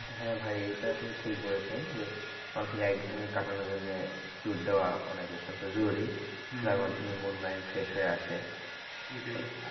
হ্যাঁ ভাই এটা আপনি ঠিক বলেছেন যে মানুষের এক ঘেয়ামি কাটানোর জন্যে tour দেওয়া অনেক অত্যান্ত জরুরি যার মাধ্যমে মন mind fresh হয়ে আসে